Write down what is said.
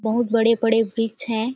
बहुत बड़े -बड़े वृक्ष हैं ।